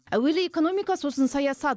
әуелі экономика сосын саясат